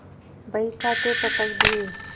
बहीखाते पटक दिये